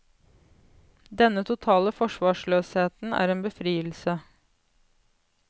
Denne totale forsvarsløsheten er en befrielse.